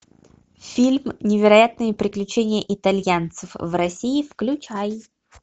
фильм невероятные приключения итальянцев в россии включай